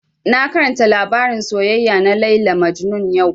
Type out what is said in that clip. Na karanta labarin soyayya na Layla Majnun yau